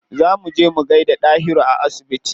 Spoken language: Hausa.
Za mu je mu gaida Dahiru a asibiti.